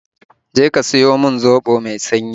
Je ka siyo min zobo mai sanyi